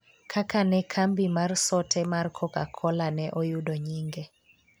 kaka ne kambi mar sote mar koka-kola ne oyudo nyinge